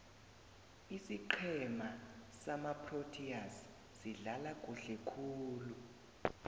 isiqhema samaproteas sidlala kuhle khulu